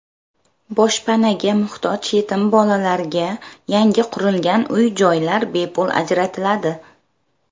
Boshpanaga muhtoj yetim bolalarga yangi qurilgan uy-joylar bepul ajratiladi.